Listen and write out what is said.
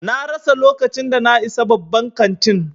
Na rasa lokacin da na isa babban kantin.